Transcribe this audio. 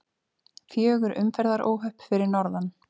Fjögur umferðaróhöpp fyrir norðan